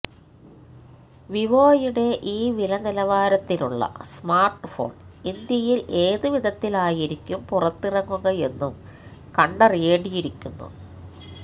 വിവോയുടെ ഈ വില നിലവാരത്തിലുള്ള സ്മാർട്ട്ഫോൺ ഇന്ത്യയിൽ ഏത് വിധത്തിലായിരിക്കും പുറത്തിറങ്ങുകയെന്നും കണ്ടറിയേണ്ടിയിരിക്കുന്നു